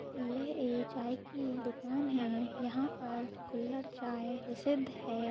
यह एक चाय की दुकान है यहा पर कुल्हड़ चाय प्रसिद्ध है।